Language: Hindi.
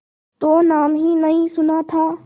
तो नाम ही नहीं सुना था